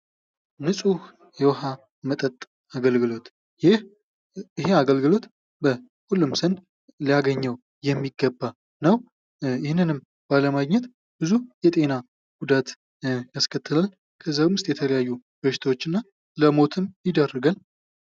ንፁህ የውሃ መጠጥ አገልግሎት ይህ አገልግሎት በሁሉም ዘንድ ሊያገኘው የሚገባ ነው :: ይህንንም ባለማግኘት ብዙ የጤና ጉዳት ያስከትላል ከዚያም ውስጥ የተለያዩ በሽታዎች እና ለሞተም ይዳረጋል ::